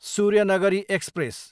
Suryanagari express